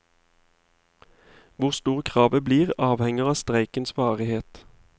Hvor stort kravet blir, avhenger av streikens varighet.